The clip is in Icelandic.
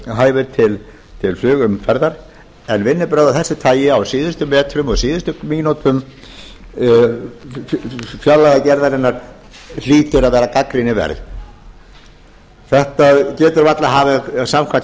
hæfir til flugumferðar en vinnubrögð af þessu tagi á síðustu metrum og síðustu mínútum fjárlagagerðarinnar hljóta að vera gagnrýnisverð samkvæmt